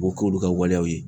O bu k'olu ka waleyaw ye.